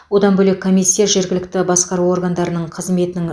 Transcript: одан бөлек комиссия жергілікті басқару органдарының қызметінің